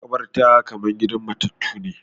Maƙabarta kamar gidan matattu ne